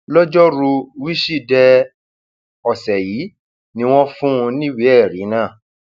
lọjọrùú wíṣídẹẹ ọsẹ yìí ni wọn fún un níwèé ẹrí náà